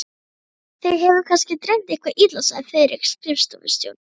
Þig hefur kannski dreymt eitthvað illa, sagði Friðrik skrifstofustjóri.